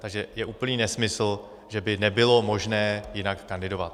Takže je úplný nesmysl, že by nebylo možné jinak kandidovat.